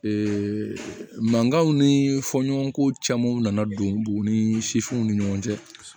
mankanw ni fɔɲɔgɔnko caman nana don bugu ni w ni ɲɔgɔn cɛ